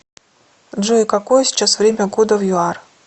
джой какое сейчас время года в юар